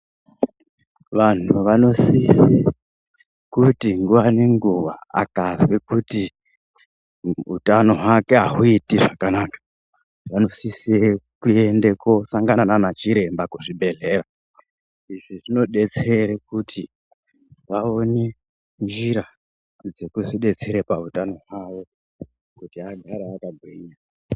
Vantu vanosise kuti nguwa nenguwa akazwe kuti utano hwake ahuiti zvakanaka vanosise kosangana nana chiremba kuzvibhedhlera, izvi zvinodetsere kuti vaone njira dzekuzvidetsera pautano hwawo kuti agare akagwinya.